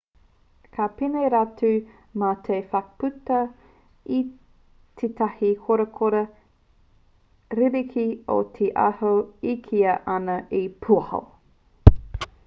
ka pēnei rātou mā te whakputa i tētahi korakora ririki o te aho e kīia ana he pūaho